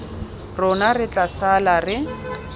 rona re tla sala re